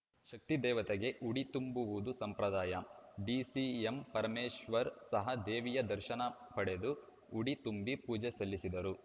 ಈ ಶಕ್ತಿ ದೇವತೆಗೆ ಉಡಿ ತುಂಬುವುದು ಸಂಪ್ರದಾಯ ಡಿಸಿಎಂ ಪರಮೇಶ್ವರ್‌ ಸಹ ದೇವಿಯ ದರ್ಶನ ಪಡೆದು ಉಡಿ ತುಂಬಿ ಪೂಜೆ ಸಲ್ಲಿಸಿದರು